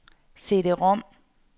CD-rom